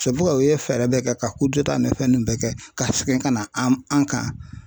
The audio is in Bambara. u ye fɛɛrɛ bɛɛ kɛ ka nin fɛn ninnu bɛɛ kɛ ka segin ka na an kan.